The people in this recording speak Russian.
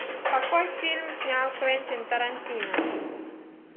какой фильм снял квентин тарантино